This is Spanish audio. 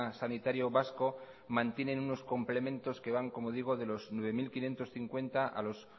sanitario vasco mantienen unos complementos que van como digo de los nueve mil quinientos cincuenta a los